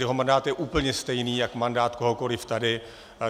Jeho mandát je úplně stejný jak mandát kohokoliv tady.